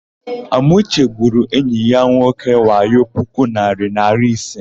Amauche gwuru enyi ya nwoke wayo puku narị naịra ise.